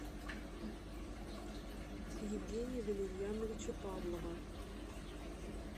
евгения валерьяновича павлова